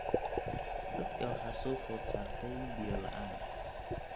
Dadka waxaa soo food saartay biyo la'aan.